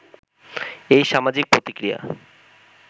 এই সামাজিক প্রতিক্রিয়া